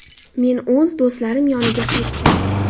Men o‘z do‘stlarim yoniga qaytdim.